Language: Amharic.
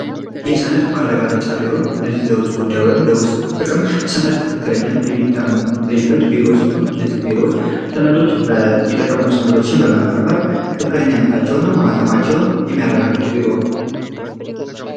የሰነድ ማረጋገጫ ቢሮ እነዚህ ለውጭ ጉዳይ ወይም ለውስጥ ጥቅም ሰነድ ትክክለኛ የሚታይበት ቢሮ ሲሆን እነዚህ ቢሮዎች ሰነዶች የተቀመጡ ሰነዶችን በመመርመር ትክክለኛነታቸው እና ማሃተማቸውን የሚያረጋግጥ ቢሮ ነው።